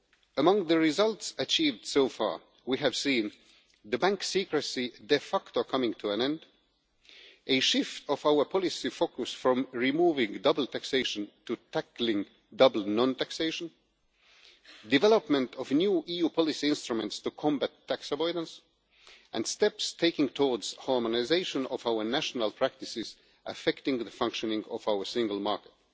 Among the results achieved so far, we have seen bank secrecy de facto coming to an end, a shift of our policy focus from removing double taxation to tackling double non taxation, development of new EU policy instruments to combat tax avoidance, and steps taken towards harmonisation of our national practices affecting the functioning of our single market.